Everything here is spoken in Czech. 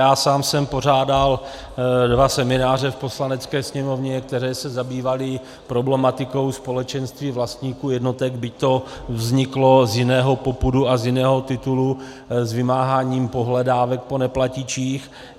Já sám jsem pořádal dva semináře v Poslanecké sněmovně, které se zabývaly problematikou společenství vlastníků jednotek, byť to vzniklo z jiného popudu a z jiného titulu, z vymáhání pohledávek po neplatičích.